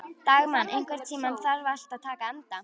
Dagmann, einhvern tímann þarf allt að taka enda.